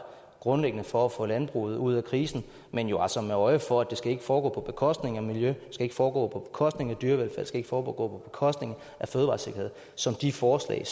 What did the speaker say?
grundlæggende for at få landbruget ud af krisen men jo altså med øje for at det ikke skal foregå på bekostning af miljø at det skal foregå på bekostning af dyrevelfærd skal foregå på bekostning af fødevaresikkerhed som de forslag